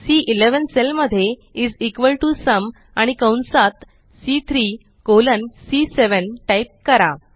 C11 cell मध्ये is equal T O sum आणि कंसात सी3 कॉलन सी7 टाइप करा